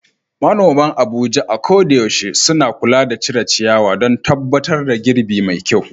Manoman Abuja a koda yaushe suna kula da cire ciyawa don tabbatar da girbi mai kyau.